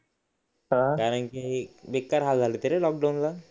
कारण की बेकार हाल झालेत रे लॉकडाउन ला